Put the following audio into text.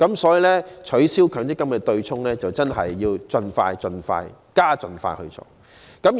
所以，取消強積金對沖機制真的要盡快、加快進行。